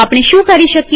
આપણે શું કરી શકીએ